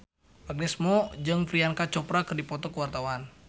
Agnes Mo jeung Priyanka Chopra keur dipoto ku wartawan